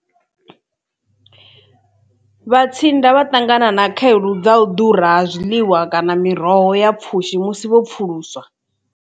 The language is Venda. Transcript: Vhatsianda vha ṱangana na khaedu dza u ḓura ha zwiḽiwa kana miroho ya pfhushi musi vho pfhuluswa.